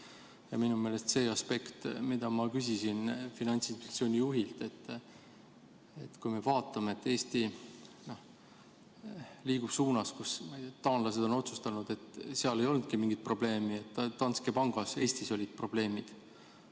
Ja minu meelest see aspekt, mille kohta ma küsisin Finantsinspektsiooni juhilt, et kui me vaatame, et Eesti liigub suunas, kus taanlased on otsustanud, et seal ei olnudki mingit probleemi, ainult Danske Banki Eesti harus olid probleemid.